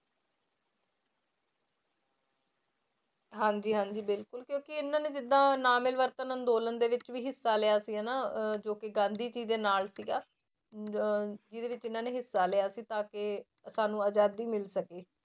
ਹਾਂਜੀ ਹਾਂਜੀ ਬਿਲਕੁਲ ਕਿਉਂਕਿ ਇਹਨਾਂ ਨੇ ਜਿੱਦਾਂ ਨਾ ਮਿਲਵਰਤਨ ਅੰਦੋਲਨ ਦੇ ਵਿੱਚ ਵੀ ਹਿੱਸਾ ਲਿਆ ਸੀ ਹਨਾ ਅਹ ਜੋ ਕਿ ਗਾਂਧੀ ਜੀ ਦੇ ਨਾਲ ਸੀਗਾ ਅਹ ਜਿਹਦੇ ਵਿੱਚ ਇਹਨਾਂ ਨੇ ਹਿੱਸਾ ਲਿਆ ਸੀ ਤਾਂ ਕਿ ਸਾਨੂੰ ਆਜ਼ਾਦੀ ਮਿਲ ਸਕੇ।